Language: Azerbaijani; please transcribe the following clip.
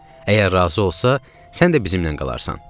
Əgər razı olsa, sən də bizimlə qalarsan.